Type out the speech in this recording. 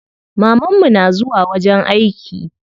Maman mu na zuwa wajen aiki.